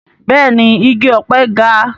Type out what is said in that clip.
Bẹ́ẹ̀ni igi ọ̀pẹ ga